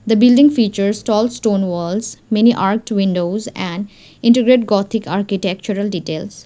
the building features tall stone walls many arched windows and intricate gothic architectural details.